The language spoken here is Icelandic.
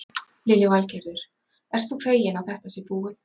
Lillý Valgerður: Ert þú feginn að þetta sé búið?